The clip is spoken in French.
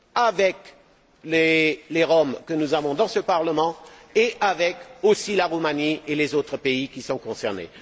avec les Roms que nous avons dans ce Parlement et avec aussi la Roumanie et les autres pays qui sont concernés.